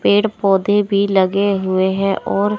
पेड़ पौधे भी लगे हुए हैं और--